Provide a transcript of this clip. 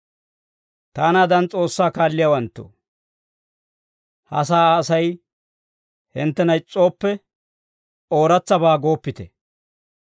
Taanaadan S'oossaa kaalliyaawanttoo, ha sa'aa Asay hinttena is's'ooppe, ooratsabaa gooppite.